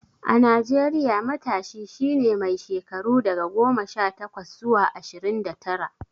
A Najeriya, matashi shi ne mai shekaru daga goma sha takwas zuwa ashirin da tara.